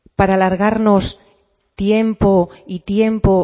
para alargarnos tiempo y tiempo